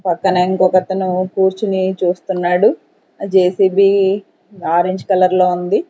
పక్కన ఇంకొకతను కూర్చుని చూస్తున్నాడు జే_సి_బి ఆరెంజ్ కలర్ లో ఉంది.